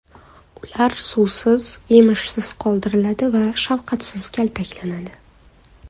Ular suvsiz, yemishsiz qoldiriladi va shafqatsiz kaltaklanadi.